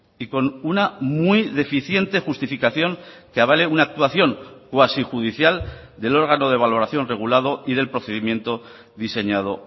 y con una muy deficiente justificación que avale una actuación cuasi judicial del órgano de valoración regulado y del procedimiento diseñado